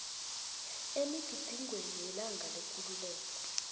emigidingweni yelanga lekululeko